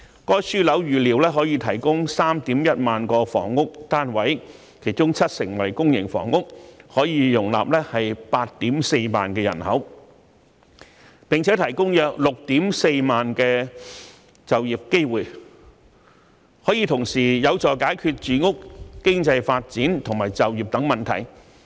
該樞紐預料可提供 31,000 個房屋單位，其中七成為公營房屋，可容納 84,000 名人口，並提供約 64,000 個就業機會，可以同時有助解決住屋、經濟發展及就業等問題。